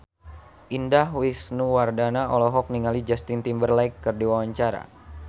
Indah Wisnuwardana olohok ningali Justin Timberlake keur diwawancara